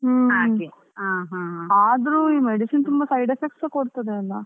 ಹಾಗೆ ಹಾ ಹಾ.